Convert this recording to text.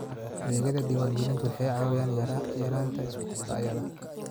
Adeegyada diwaangelintu waxay caawiyaan yaraynta isku dhacyada.